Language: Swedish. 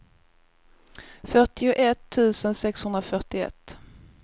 fyrtioett tusen sexhundrafyrtioett